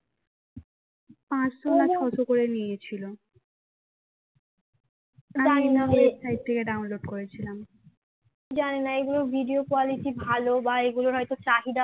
জানিনা এগুলোর video quality ভালো বা এগুলোর হয়তো চাহিদা অনেক আছে